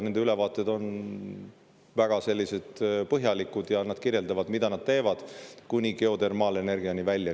Nende ülevaated on väga põhjalikud ja nad kirjeldavad, mida nad teevad, kuni geotermaalenergiani välja.